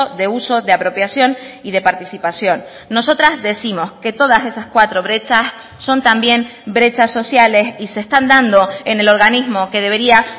de uso de apropiación y de participación nosotras décimos que todas esas cuatro brechas son también brechas sociales y se están dando en el organismo que debería